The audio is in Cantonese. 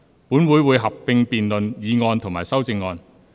本會會合併辯論議案及修正案。